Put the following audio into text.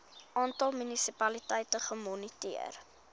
aantal munisipaliteite gemoniteer